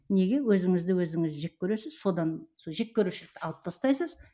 неге өзіңізді өзіңіз жек көресіз содан сол жек көрушілікті алып тастайсыз